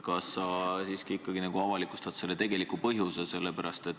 Kas sa nüüd avalikustad tegeliku põhjuse?